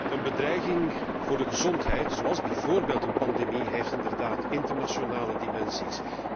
Een bedreiging voor de gezondheid, zoals bijvoorbeeld een pandemie, heeft inderdaad internationale dimensies.